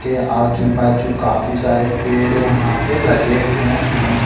के आजू बाजू काफी सारे पेड़ यहाँ पे लगे हुए है।